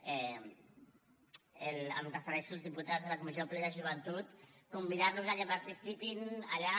em refereixo als diputats de la comissió polítiques de joventut convidar los perquè participin allà